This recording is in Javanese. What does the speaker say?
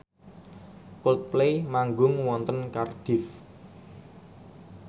Coldplay manggung wonten Cardiff